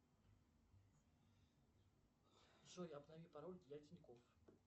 джой обнови пароль для тинькофф